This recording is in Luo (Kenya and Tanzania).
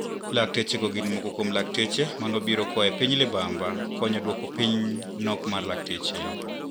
Laktechego gin moko kuom lakteche manobiro koae piny libamba konyo duoko piny nok mar lakteche.